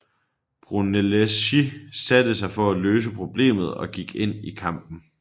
Brunelleschi satte sig for at løse problemet og gik ind i kampen